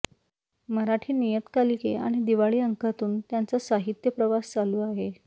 मराठी नियतकालिके आणि दिवाळी अंकांतून त्यांचा साहित्य प्रवास चालू आहे